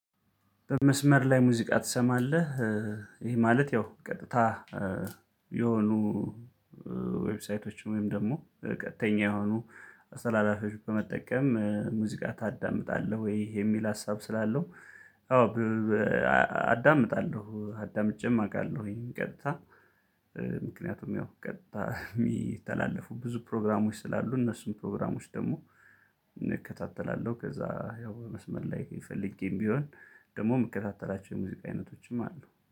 በመስመር ላይ ሙዙቃ ትሰማለህ? ማለት ያው ቀጥታ የሆኑ ዌብሳይቶች ወይም ደግሞ ቀጥተኛ የሆኑ አስተላላፊዎች በመጠቀም ሙዚቃ ታዳምጣለህ ወይ? የሚል ሀሳብ ስላለው አዎ። አዳምጣለሁ አዳምጬም አውቃለሁ ቀጥታ ምክንያቱም ያው ቀጥታ የሚተላለፉ ብዙ ፕሮግራሞች ስላሉ እነሱም ፕሮግራሞች ደግሞ እከታተላለሁ። ከዛ ያው መስመር ላይ ፈልጌም ቢሆን ደግሞ የምከታተላቸው የሙዚቃ አይነቶችም አሉ